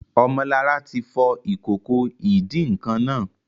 Ọmọlará ti fọ ìkòkò ìdín-nǹkan naa